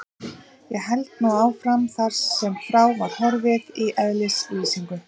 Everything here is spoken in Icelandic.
Ég held nú áfram þar sem frá var horfið í eðlislýsingu